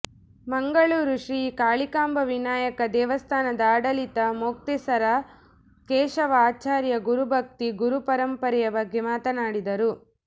ಮಂಗಳೂರು ಶ್ರೀ ಕಾಳಿಕಾಂಬಾ ವಿನಾಯಕ ದೇವಸ್ಥಾನದ ಆಡಳಿತ ಮೊಕ್ತೇಸರ ಕೇಶವ ಆಚಾರ್ಯ ಗುರು ಭಕ್ತಿ ಗುರುಪರಂಪರೆಯ ಬಗ್ಗೆ ಮಾತನಾಡಿದರು